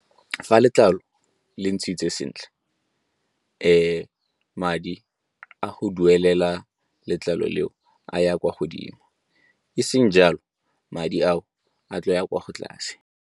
Fa letlalo le ntshitse sentle madi a go duelela letlalo leo a ya kwa godimo, e seng jalo madi ao a tlo ya kwa tlase.